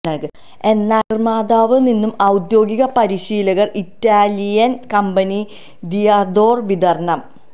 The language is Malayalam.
എന്നാൽ നിർമ്മാതാവ് നിന്നും ഔദ്യോഗിക പരിശീലകർ ഇറ്റാലിയൻ കമ്പനി ദിഅദൊര വിതരണം